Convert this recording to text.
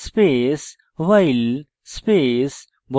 কোঁকড়া বন্ধনী বন্ধ করুন space